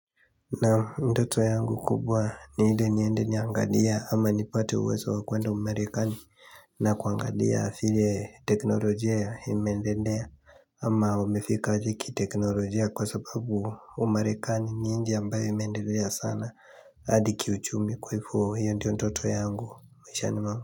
Naam ndoto yangu kubwa ni ni endeni angalia ama nipate uwezo wakwenda umarekani na kuangalia vile teknolojia imeendelea ama wamefika aje kiteknolojia kwa sababu umarekani ni nchi ambayo imendelea sana adi kiuchumi kwa ivo hiyo ndiyo ndoto yangu maishani mwangu.